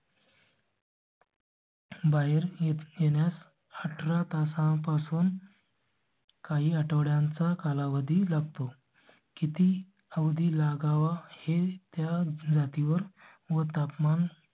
बाहेर एचएनएन अठरा तासांपासून. काही आठवड्यांचा कालावधी लागतो. किती अवधी लागावा हे त्या जाती वर व तापमान